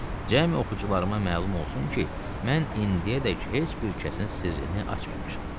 Cəmi oxucularıma məlum olsun ki, mən indiyədək heç bir kəsin sirrini açmamışam.